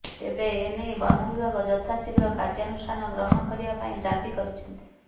ତେବେ ଏନେଇ ବନବିଭାଗ ଯଥା ଶୀଘ୍ର କାର୍ଯ୍ୟନୁଷ୍ଠାନ ଗ୍ରହଣ କରିବା ପାଇଁ ଦାବି କରିଛନ୍ତି